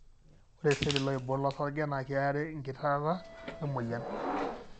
ore iseli looiborr losarge na kiarare ingitirata wemoyian.